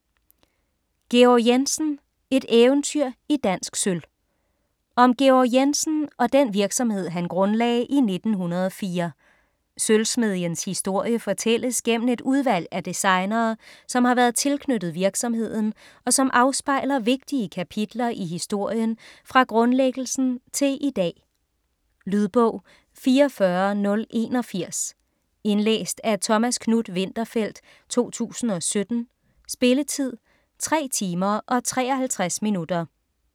Georg Jensen - et eventyr i dansk sølv Om Georg Jensen og den virksomhed han grundlagde i 1904. Sølvsmedjens historie fortælles gennem et udvalg af designere, som har været tilknyttet virksomheden og som afspejler vigtige kapitler i historien fra grundlæggelsen til i dag. Lydbog 44081 Indlæst af Thomas Knuth-Winterfeldt, 2017. Spilletid: 3 timer, 53 minutter.